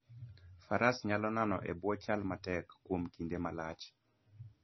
Faras nyalo nano e bwo chal matek kuom kinde malach.